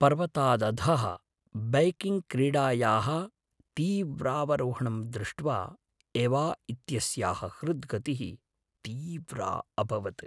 पर्वतादधः बैकिङ्ग्क्रीडायां तीव्रावरोहणं दृष्ट्वा एवा इत्यस्याः हृद्गतिः तीव्रा अभवत्।